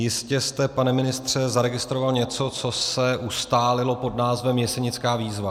Jistě jste pane ministře zaregistroval něco, co se ustálilo pod názvem Jesenická výzva.